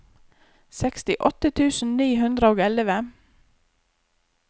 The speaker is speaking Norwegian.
sekstiåtte tusen ni hundre og elleve